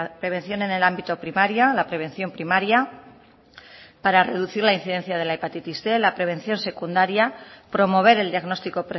prevención en el ámbito primario la prevención primaria para reducir la incidencia de la hepatitis cien la prevención secundaria promover el diagnóstico